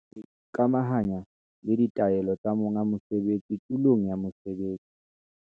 Ho ikamahanya le ditaelo tsa monga mosebetsi tulong ya mosebetsi.